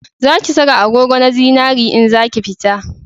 Za ki saka agogo na zinari in zaki fita